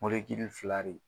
fila de